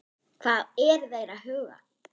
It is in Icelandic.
Hvað eru þeir að huga?